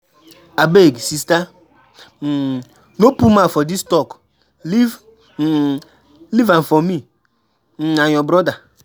Abeg sister, um no put mouth for dis talk, leave um am for me um and your brother.